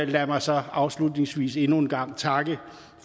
lad mig så afslutningsvis endnu en gang takke